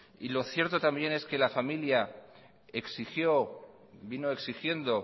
y lo cierto también es que la familia exigió vino exigiendo